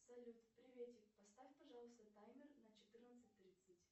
салют приветик поставь пожалуйста таймер на четырнадцать тридцать